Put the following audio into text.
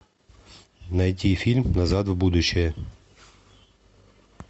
найти фильм назад в будущее